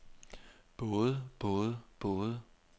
både både både